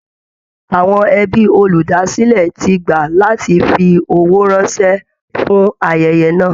Àwọn ẹbí olúdásílẹ̀ ti gbà láti fi owó ránṣẹ́ fún ayẹyẹ náà